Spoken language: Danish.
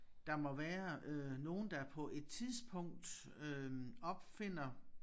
Der må være øh nogen der på et tidspunkt øh opfinder